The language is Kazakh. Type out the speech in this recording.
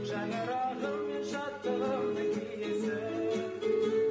шаңырағым мен шаттығымның киесі